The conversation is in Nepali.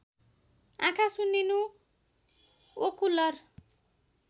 आँखा सुन्निनु ओकुलर